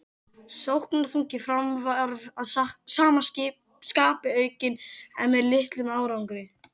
Sóknarþungi Fram var að sama skapi aukinn en með litlum árangri.